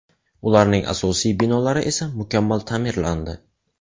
Ularning asosiy binolari esa mukammal ta’mirlandi.